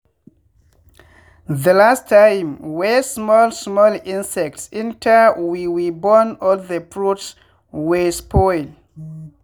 the last time wey small small insects enter we we burn all the fruits wey spoil.